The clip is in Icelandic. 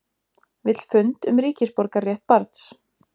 Vill fund um ríkisborgararétt barns